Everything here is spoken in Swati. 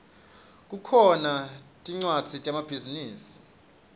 kukhona tmcwadzi temabhizinisi